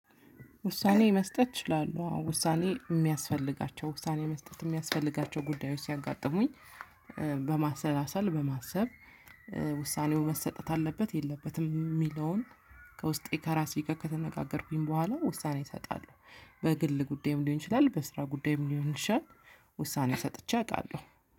ውሳኔ መስጠት እችላለሁ አዎ ውሳኔ የሚያስፈልጋቸው ውሳኔ መስጠት የሚያስፈልጋቸው ጉዳዮች ሲያጋጥሙኝ በማሰላሰል በማሰብ ውሳኔው መሰጠት አለበት የለበትም የሚለውን ከውስጤ ከራሴ ጋር ከተነጋገርኩኝ በኋላ ውሳኔ እሰጣለሁ። በግል ጉዳይም ሊሆን ይችላል በስራ ጉዳይም ሊሆን ይችላል። ውሳኔ ሰጥቼ አውቃለሁ